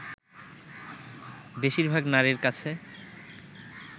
বেশিরভাগ নারীর কাছে